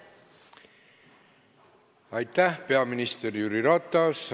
Aitäh, peaminister Jüri Ratas!